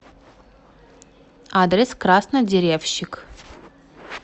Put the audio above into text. адрес краснодеревщик